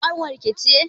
Zainab ƙanwar ki ce?